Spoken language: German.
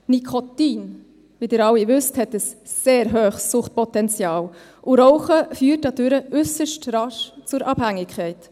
Nikotin, wie Sie alle wissen, hat ein sehr hohes Suchtpotenzial, und das Rauchen führt dadurch äusserst rasch zur Abhängigkeit.